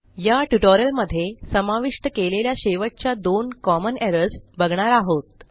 या ट्युटोरियलमध्ये समाविष्ट केलेल्या शेवटच्या दोन कॉमन एरर्स बघणार आहोत